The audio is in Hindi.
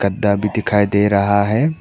भी दिखाई दे रहा है।